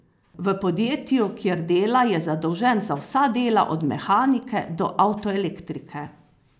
V podjetju, kjer dela je zadolžen za vsa dela od mehanike do avtoelektrike.